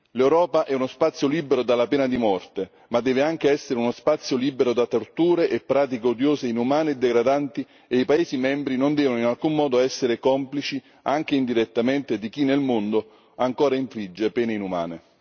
L'Europa è uno spazio libero dalla pena di morte, ma deve anche essere uno spazio libero da torture e pratiche odiose, inumane e degradanti, e i paesi membri non devono in alcun modo essere complici, anche indirettamente, di chi nel mondo ancora infligge pene inumane.